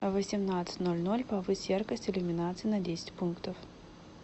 в восемнадцать ноль ноль повысь яркость иллюминации на десять пунктов